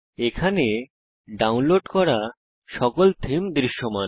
এখানে ডাউনলোড করা সকল থীম দৃশ্যমান